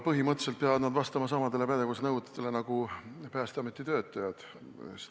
Põhimõtteliselt peavad nad vastama samadele pädevusnõuetele nagu Päästeameti töötajad.